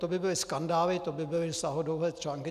To by byly skandály, to by byly sáhodlouhé články.